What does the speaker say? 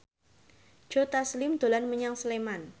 Joe Taslim dolan menyang Sleman